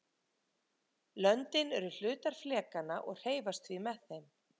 löndin eru hlutar flekanna og hreyfast því með þeim